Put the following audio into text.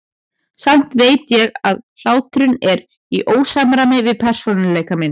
Samt veit ég að hláturinn er í ósamræmi við persónuleika minn.